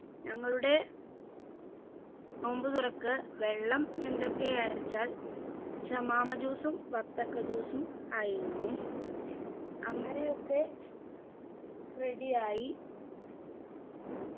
ഞങ്ങളുടെ നോമ്പുതുറക്ക് വെള്ളം എന്തൊക്കെയാ വെച്ചാൽ shamam juice ഉം ബത്തക്ക juice ഉം ആയിരുന്നു അങ്ങനെയൊക്കെ ready ആയി